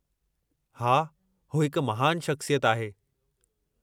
हा, हू हिकु महानु शख़्सियत आहे।